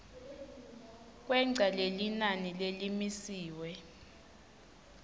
kwengca lelinani lelimisiwe